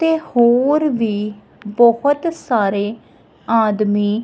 ਤੇ ਹੋਰ ਵੀ ਬਹੁਤ ਸਾਰੇ ਆਦਮੀ--